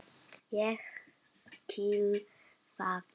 Ég skil það.